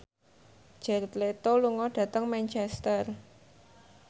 Jared Leto lunga dhateng Manchester